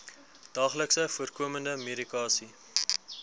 daagliks voorkomende medikasie